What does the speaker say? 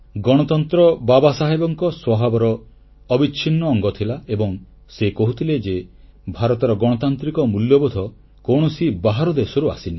ଗଣତନ୍ତ୍ର ବାବାସାହେବଙ୍କ ସ୍ୱଭାବର ଅବିଚ୍ଛିନ୍ନ ଅଙ୍ଗ ଥିଲା ଏବଂ ସେ କହୁଥିଲେ ଯେ ଭାରତର ଗଣତାନ୍ତ୍ରିକ ମୂଲ୍ୟବୋଧ କୌଣସି ବାହାର ଦେଶରୁ ଆସିନି